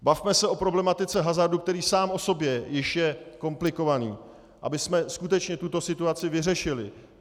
Bavme se o problematice hazardu, který sám o sobě již je komplikovaný, abychom skutečně tuto situaci vyřešili.